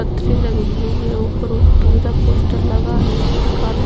पतथरि लगे हुए है ऊपर उ पीला पोस्टर लगे है जिसमे काले--